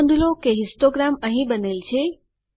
નોંધ લો કે હિસ્ટોગ્રામ અંહિ બનેલ છે